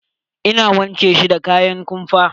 Ina wanke shi da kayan kumfa.